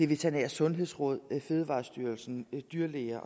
veterinære sundhedsråd fødevarestyrelsen dyrlæger